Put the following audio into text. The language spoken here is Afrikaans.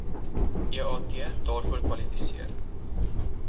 eat daarvoor kwalifiseer